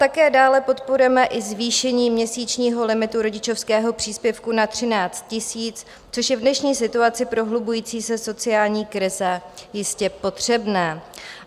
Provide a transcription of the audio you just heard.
Také dále podporujeme i zvýšení měsíčního limitu rodičovského příspěvku na 13 000, což je v dnešní situaci prohlubující se sociální krize jistě potřebné.